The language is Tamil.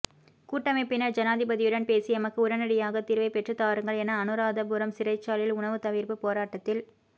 கூட்டமைப்பினர் ஜனாதிபதியுடன் பேசி எமக்கு உடனடியாக தீர்வைப் பெற்றுத் தாருங்கள் என அனுராதபுரம் சிறைச்சாலையில் உணவு தவிர்ப்பு போராட்டத்தில்